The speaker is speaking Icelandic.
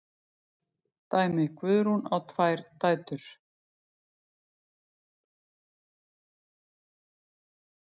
Dæmi: Guðrún á tvær dætur.